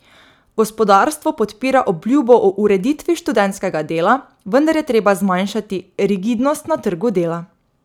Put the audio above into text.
Gospodarstvo podpira obljubo o ureditvi študentskega dela, vendar je treba zmanjšati rigidnost na trgu dela.